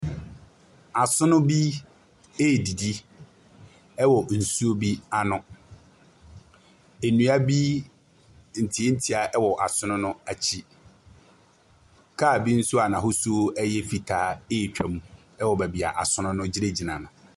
Asono bi redidi wɔ nsuo bi ano. Nnua bi, ntiantia wɔ asono no akyi. Kaa bi nso a n'ahosuo yɛ fitaa retwam wɔ baabi a asono no gyinagyina no.